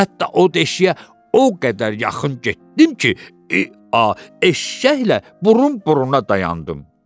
Hətta o deşiyə o qədər yaxın getdim ki, eee, eşşəklə burun-buruna dayandım.